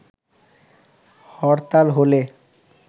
হরতাল হলে